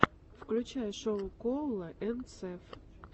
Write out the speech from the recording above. включай шоу коула энд сэв